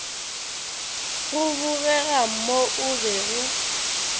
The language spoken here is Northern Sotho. go bogega mo o bego